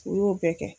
U y'o bɛɛ kɛ